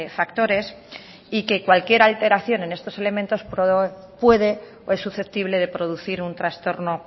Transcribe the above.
factores y que cualquier alteración en estos elementos puede o es susceptible de producir un trastorno